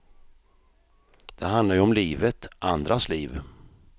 Det handlar ju om livet, andras liv.